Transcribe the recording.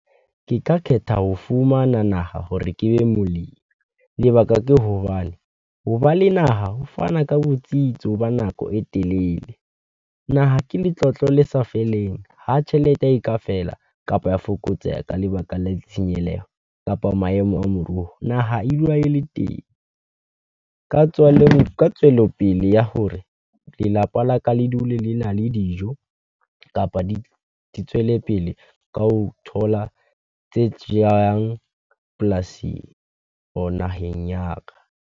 Ke ka kgetha ho fumana naha hore ke be molemi, lebaka ke hobane ho ba le naha ho fana ka botsitso hoba nako e telele. Naha ke letlotlo le sa feleng, ha tjhelete e ka fela kapa ya fokotseha ka lebaka la ditshenyeleho, kapa maemo a moruo wa naha e dula e le teng, ka tswelopele ya hore lelapa la ka le dule lena le dijo, kapa di tswelepele ka ho thola tse jehang polasing, or naheng ya ka.